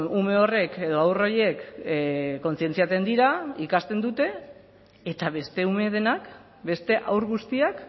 ume horrek edo haur horiek kontzientziatzen dira ikasten dute eta beste ume denak beste haur guztiak